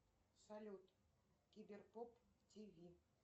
салют киберпоп тв